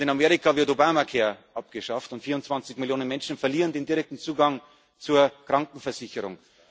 sind. Und in Amerika wird Obama Care abgeschafft, und 24 Millionen Menschen verlieren den direkten Zugang zur Krankenversicherung.